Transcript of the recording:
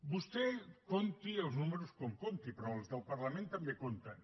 vostè compti els números com els compti però els del parlament també compten